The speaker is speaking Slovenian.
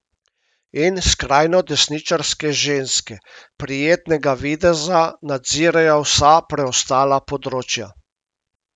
In skrajnodesničarske ženske prijetnega videza nadzirajo vsa preostala področja.